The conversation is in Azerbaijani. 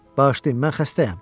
Bağışlayın, mən xəstəyəm.